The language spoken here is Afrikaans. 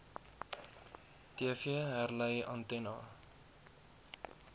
tv herlei antenna